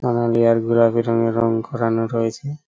নানা লেয়ার গুলা বেরঙ্গে রঙ করানো রয়েছে।